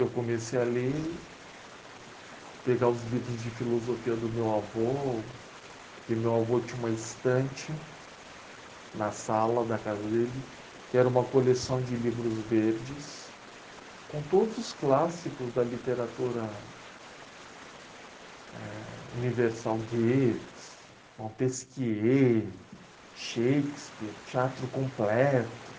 Eu comecei a ler, pegar os livros de filosofia do meu avô, porque meu avô tinha uma estante na sala da casa dele, que era uma coleção de livros verdes, com todos os clássicos da literatura, eh... Universal, Goethe, Montesquieu, Shakespeare, Teatro Completo.